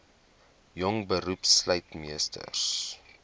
jong beroepslui meesters